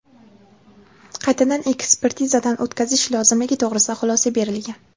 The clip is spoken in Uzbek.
qaytadan ekspertizadan o‘tkazish lozimligi to‘g‘risida xulosa berilgan.